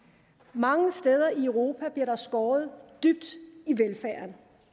mange steder i europa bliver der skåret dybt